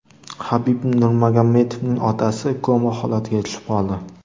Habib Nurmagomedovning otasi koma holatiga tushib qoldi.